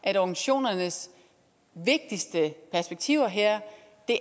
at organisationernes vigtigste perspektiver her